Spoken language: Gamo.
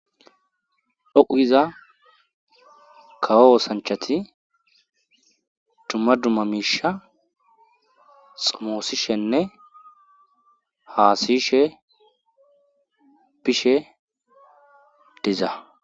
dhoqugiza kawo osanchati dumma dumma miisha xumoosishenne haasishe pishe deza